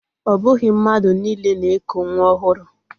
O bughi mmadu niile na-eku nwa ohuru.